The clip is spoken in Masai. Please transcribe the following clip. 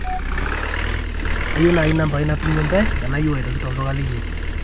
kaomonu naaji nambai natumie intae tenayieu aitoki tolduka linyi